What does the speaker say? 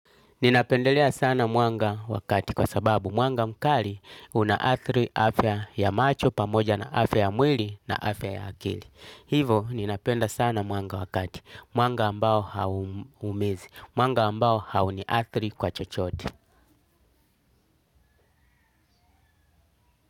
Ninapendelea sana mwanga wa kati kwa sababu mwanga mkali unaathiri afya ya macho pamoja na afya ya mwili na afya ya akili. Hivyo ninapenda sana mwanga wa kati, mwanga ambao hauumizi mwanga ambao hauniathiri kwa chochote.